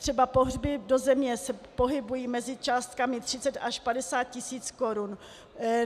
Třeba pohřby do země se pohybují mezi částkami 30 až 50 tisíc korun.